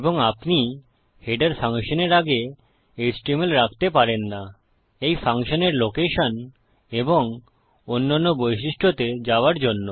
এবং আপনি হেডার ফাংশনের আগে এইচটিএমএল রাখতে পারেন না এই ফাংশনের লোকেশন এবং অন্যান্য বৈশিষ্ট্যতে যাওয়ার জন্য